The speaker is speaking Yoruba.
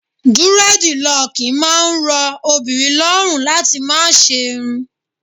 Dúrẹ́dilọ̀kì máa ń rọ obìnrin lọ́rùn láti máa ṣe'run.